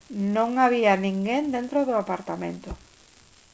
non había ninguén dentro do apartamento